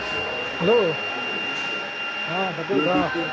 Hello ହଁ ସନ୍ତୋଷ କହ।